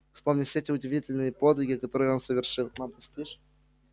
вспомни все те удивительные подвиги которые он совершил мам ты спищь